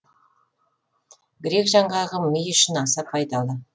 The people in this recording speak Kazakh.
грек жаңғағы ми үшін аса пайдалы